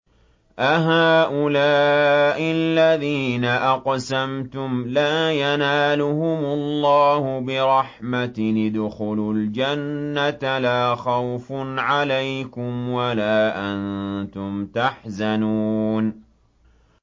أَهَٰؤُلَاءِ الَّذِينَ أَقْسَمْتُمْ لَا يَنَالُهُمُ اللَّهُ بِرَحْمَةٍ ۚ ادْخُلُوا الْجَنَّةَ لَا خَوْفٌ عَلَيْكُمْ وَلَا أَنتُمْ تَحْزَنُونَ